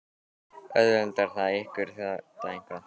Auðveldar það ykkur þetta eitthvað?